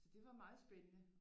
Så det var meget spændende